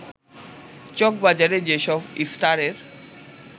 চকবাজারে যেসব ইফতারের